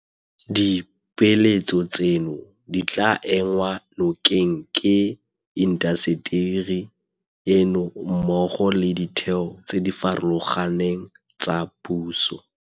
Dipeeletso tseno di tla enngwa nokeng ke intaseteri eno mmogo le ditheo tse di farologaneng tsa puso.